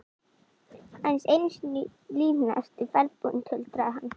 Aðeins einu sinni í lífinu ertu ferðbúinn, tuldraði hann.